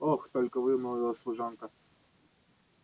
ох только вымолвила служанка